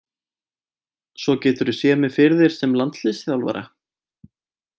Svo geturðu séð mig fyrir þér sem landsliðsþjálfara?